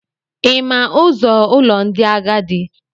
Ị ma ụzọ ụlọ ndị agadi?